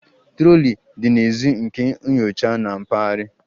Trọlị dị n'èzí nke nyocha na mpaghara